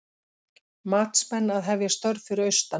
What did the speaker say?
Matsmenn að hefja störf fyrir austan